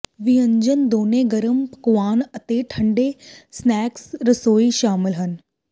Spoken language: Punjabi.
ਵਿਅੰਜਨ ਦੋਨੋ ਗਰਮ ਪਕਵਾਨ ਅਤੇ ਠੰਡੇ ਸਨੈਕਸ ਰਸੋਈ ਸ਼ਾਮਲ ਹੈ